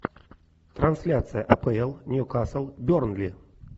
трансляция апл нью касл бернли